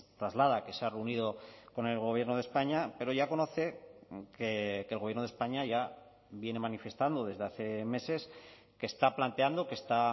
traslada que se ha reunido con el gobierno de españa pero ya conoce que el gobierno de españa ya viene manifestando desde hace meses que está planteando que está